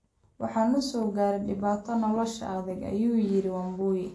waxaa na soo gaaray dhibaatada nolosha adag, ayuu yiri Wambui